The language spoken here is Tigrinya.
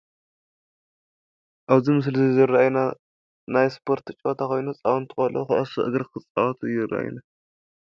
ኣብዚ ምስሊ እዚ ዝረአዩና ናይ ስፖርት ፀወታ ኾይኑ ህፃውንቲ ቆለዑ ኹዕሶ እግሪ ኽፃወቱ ይረአዩና፡፡